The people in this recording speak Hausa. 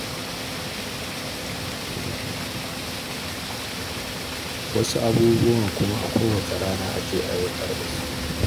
Wasu abubuwan kuma a kowace rana ake aiwatar da su.